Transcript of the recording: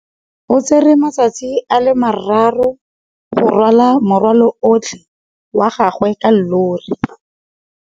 O tsere malatsi a le marraro go rwala morwalo otlhe wa gagwe ka llori.